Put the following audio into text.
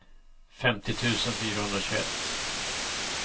femtio tusen fyrahundratjugoett